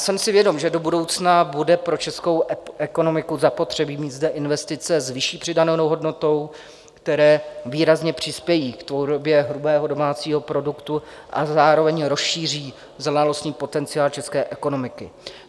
Jsem si vědom, že do budoucna bude pro českou ekonomiku zapotřebí mít zde investice s vyšší přidanou hodnotou, které výrazně přispějí k tvorbě hrubého domácího produktu a zároveň rozšíří znalostní potenciál české ekonomiky.